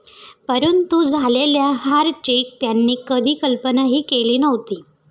परंतु झालेल्या हार ची त्यांनी कधी कल्पना ही केली नव्हती.